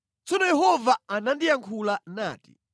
Tsono Yehova anandiyankhula nati: